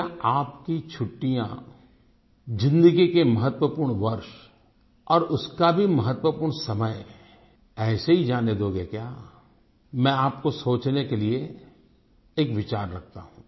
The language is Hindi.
क्या आपकी छुट्टियाँ ज़िन्दगी के महत्वपूर्ण वर्ष और उसका भी महत्वपूर्ण समय ऐसे ही जाने दोगे क्या मैं आपको सोचने के लिए एक विचार रखता हूँ